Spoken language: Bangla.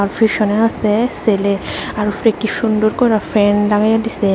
ফিসনে আসে সেলে আর উপরে কি সুন্দর করে ফ্যান লাগায়া দিসে।